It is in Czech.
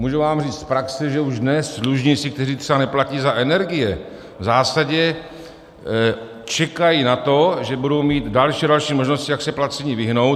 Můžu vám říct z praxe, že už dnes dlužníci, kteří třeba neplatí za energie, v zásadě čekají na to, že budou mít další a další možnosti, jak se placení vyhnout.